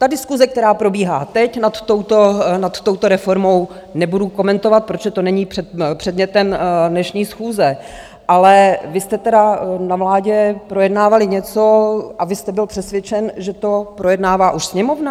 Ta diskuse, která probíhá teď nad touto reformou, nebudu komentovat, protože to není předmětem dnešní schůze, ale vy jste tedy na vládě projednávali něco, a vy jste byl přesvědčen, že to projednává už sněmovna?